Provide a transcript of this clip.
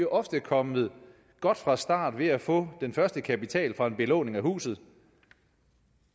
ofte er kommet godt fra start ved at få den første kapital fra en belåning af huset